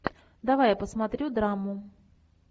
давай я посмотрю драму